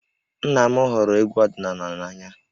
Nna m hụrụ egwú ọdịnala n'anya